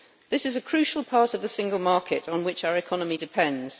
This is a crucial part of the single market on which our economy depends.